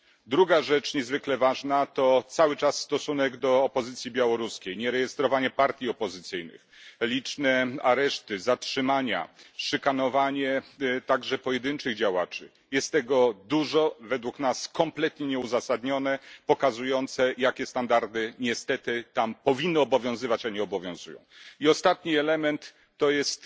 Druga rzecz niezwykle ważna to cały czas stosunek do opozycji białoruskiej nierejestrowanie partii opozycyjnych, liczne areszty, zatrzymania, szykanowanie, także pojedynczych działaczy. Jest tego dużo, według nas kompletnie nieuzasadnione, pokazujące, jakie standardy niestety tam powinny obowiązywać, a nie obowiązują. I ostatni element to jest